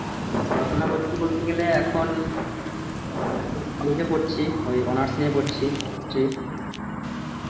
পড়াশোনা করছি বলতে গেলে এখন এখন college এ পড়ছি ঐ honours নিয়ে পড়ছি, কিছু